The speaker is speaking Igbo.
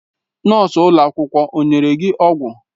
Nọọsụ ụlọ akwụkwọ o nyere gị ọgwụ?